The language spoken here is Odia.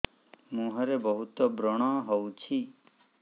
ମୁଁହରେ ବହୁତ ବ୍ରଣ ହଉଛି